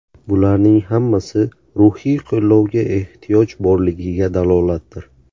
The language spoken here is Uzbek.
Bularning hammasi ruhiy qo‘llovga ehtiyoj borligiga dalolatdir.